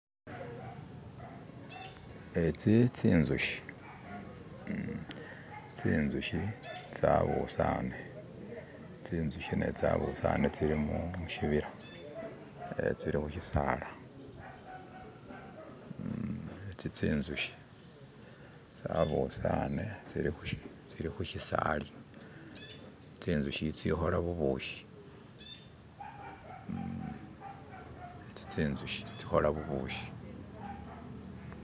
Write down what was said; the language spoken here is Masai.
etsi tsinzushi tsinzushi tsabusane tsinzushi netsabusane tsili mushibila tsili khushisala itsitsinzushi tsabusane tsilikhushisala tsinzushi itsikhola bubushi